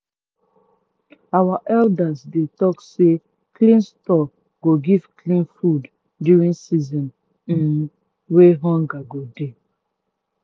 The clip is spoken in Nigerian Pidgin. our elders dey talk say clean store go give clean food during season um wey hunger go dey.